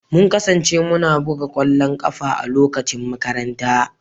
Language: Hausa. Mun kasance muna buga ƙwallon ƙafa a lokacin makaranta